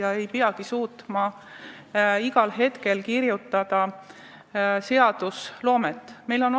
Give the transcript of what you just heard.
Nad ei peagi suutma igal hetkel seaduseelnõusid luua.